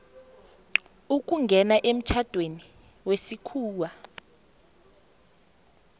ukungena emtjhadweni wesikhuwa